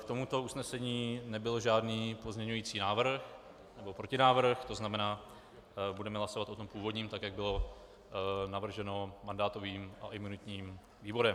K tomuto usnesení nebyl žádný pozměňovací návrh nebo protinávrh, to znamená, budeme hlasovat o tom původním, tak jak bylo navrženo mandátovým a imunitním výborem.